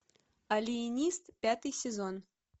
алиенист пятый сезон